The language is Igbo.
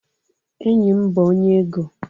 Enyim bu onye ego